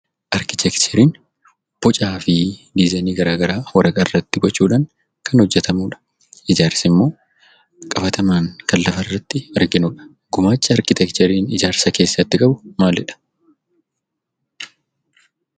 Arkiteekchariin bocaa fi dizzaayinii garaa garaa waraqaa irratti gochuudhaan kan hojjetamudha. Ijaarsa jechuun immoo qabatamaan kan lafa irratti arginudha. Gumaacha arkiteekchariin ijaarsa keessatti qabu maalidha?